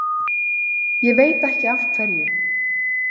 Ég veit ekki af hverju.